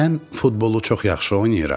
Mən futbolu çox yaxşı oynayıram.